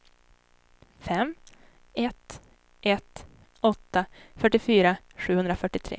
fem ett ett åtta fyrtiofyra sjuhundrafyrtiotre